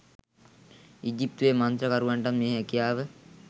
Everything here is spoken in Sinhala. ඊජිත්තුවේ මන්ත්‍රකරුවන්ටත් මේ හැකියාව